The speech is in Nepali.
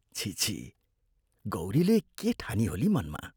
छिः छिः गौरीले के ठानिहोली मनमा?